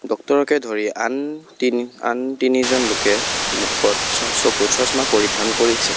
ডক্টৰকে ধৰি আন তি আন তিনিজন লোকে মুখত চ চকুত চশমা পৰিধান কৰিছে।